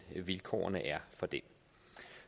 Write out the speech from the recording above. vilkårene er for det